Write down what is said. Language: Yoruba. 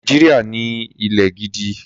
Nàìjíríà ní ilẹ̀ gidi.